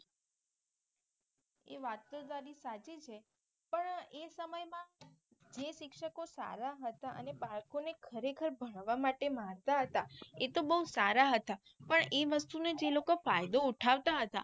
એ વાત તો તારી સાચી છે પણ એ સમય માં જે શિક્ષકો સારા હતા અને અને બાળકોનો ખરે ખાર ભણવા માટે મારતા હતા એ તો બહુ સારા હતા પણ એ વસ્તુ નું જે લોકો ફાયદો ઉઠાવતા હતા.